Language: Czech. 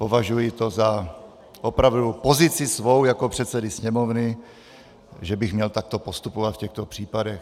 Považuji to za opravdu pozici svou jako předsedy Sněmovny, že bych měl takto postupovat v těchto případech.